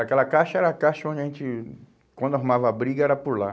Aquela caixa era a caixa onde a gente, quando arrumava a briga, era por lá.